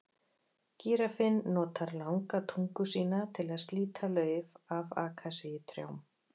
Gíraffinn notar langa tungu sína til að slíta lauf af akasíutrjám.